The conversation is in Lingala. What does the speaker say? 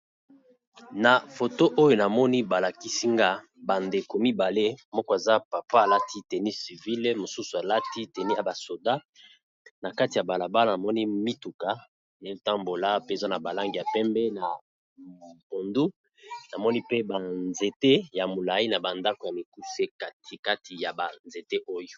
Na foto oyo namoni balakisi nga ba ndeko mibale moko aza papa alati teni civile mosusu alati teni ya ba soda, na kati ya bala bala namoni mituka eza tambola pe eza na ba langi ya pembe na bondu namoni pe ba nzete ya molai na ba ndako ya mikuse kati kati ya ba nzete oyo.